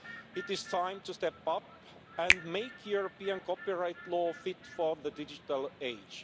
It is time to step up and make European copyright law fit for the digital age.